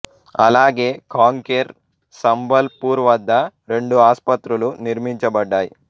అలాగే కాంకేర్ సంబల్ పూర్ వద్ద రెండు ఆసుపత్రులు నిర్మించబడ్డాయి